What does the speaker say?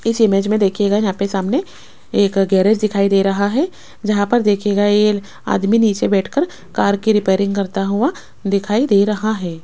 इस इमेज मे देखियेगा यहा पे सामने एक गैरेज दिखाई दे रहा है जहां पर देखियेगा ये आदमी नीचे बैठकर कार की रिपेयरिंग करता हुआ दिखाई दे रहा है।